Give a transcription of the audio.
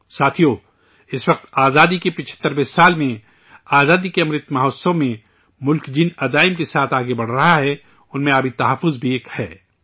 ساتھیو، اس وقت آزادی کے 75ویں سال میں، آزادی کے امرت مہوتسو میں، ملک جن عزائم کو لے کر آگے بڑھ رہا ہے، ان میں پانی کا تحفظ بھی ایک ہے